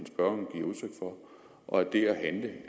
det gør regeringen ikke